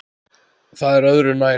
Það er öðru nær.